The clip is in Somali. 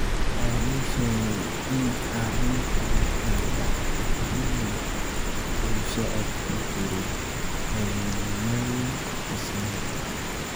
Waxa uu sheegay in arrintan ay dhacday xilli uu socod ku jiray habeenimadii Isniinta.